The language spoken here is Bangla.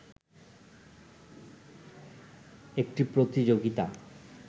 একটি প্রতিযোগিতা